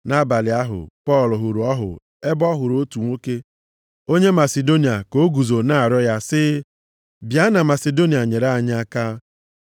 Nʼabalị ahụ, Pọl hụrụ ọhụ ebe ọ hụrụ otu nwoke onye Masidonia ka o guzo na-arịọ ya sị, “Bịa na Masidonia nyere anyị aka.”